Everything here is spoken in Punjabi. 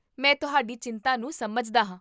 ਮੈਂ ਤੁਹਾਡੀ ਚਿੰਤਾ ਨੂੰ ਸਮਝਦਾ ਹਾਂ